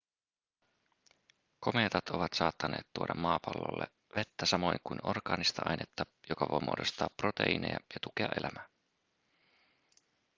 komeetat ovat saattaneet tuoda maapallolle vettä samoin kuin orgaanista ainetta joka voi muodostaa proteiineja ja tukea elämää